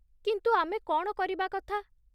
କିନ୍ତୁ, ଆମେ କ'ଣ କରିବା କଥା?